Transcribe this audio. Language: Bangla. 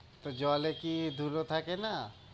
তো জলে কি ধুলো থাকে না?